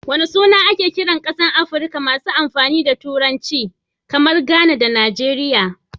Wana suna ake kiran kasashen Afrika masu amfani da Turanci, kamar Ghana da Nigeria?